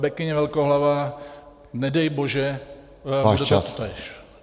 Bekyně velkohlavá, nedej bože, bude to totéž.